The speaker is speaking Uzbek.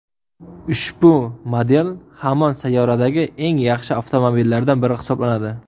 Ushbu model hamon sayyoradagi eng yaxshi avtomobillardan biri hisoblanadi.